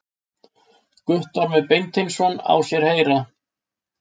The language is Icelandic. Guttormur Beinteinsson í sér heyra.